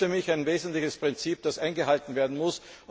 Das ist für mich ein wesentliches Prinzip, das eingehalten werden muss.